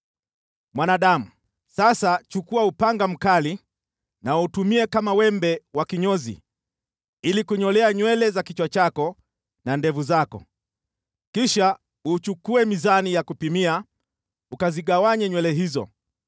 “Mwanadamu, sasa chukua upanga mkali na uutumie kama wembe wa kinyozi ili kunyolea nywele za kichwa chako na ndevu zako. Kisha uchukue mizani ya kupimia ukazigawanye nywele hizo.